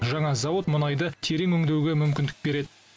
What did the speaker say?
жаңа зауыт мұнайды терең өңдеуге мүмкіндік береді